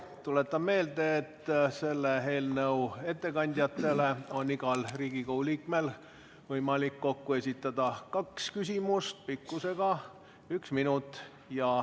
Tuletan meelde, et selle eelnõu ettekandjatele on igal Riigikogu liikmel võimalik kokku esitada kaks küsimust pikkusega 1 minut.